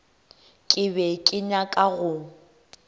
ke be ke nyaka go